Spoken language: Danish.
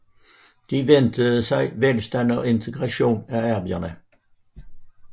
De ventede sig velstand og integration af arbejderne